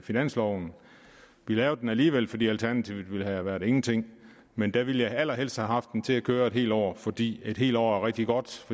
finansloven vi lavede den alligevel fordi alternativet ville have været ingenting men da ville jeg allerhelst have haft den til at køre et helt år fordi et helt år er rigtig godt